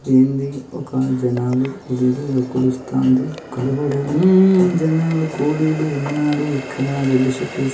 ఒక జనాలు కొలుస్తాంది. హుమ్ జనాలు కోడీలు ఉన్నారు. రెడ్ షర్టు వేసుకొని --